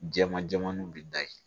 Jama jɛmanniw bɛ da yen